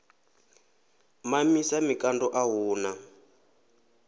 mamisa mikando a hu na